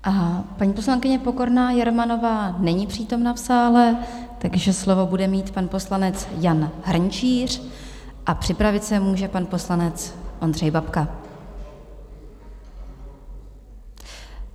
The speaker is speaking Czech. Paní poslankyně Pokorná Jermanová není přítomna v sále, takže slovo bude mít pan poslanec Jan Hrnčíř a připravit se může pan poslanec Ondřej Babka.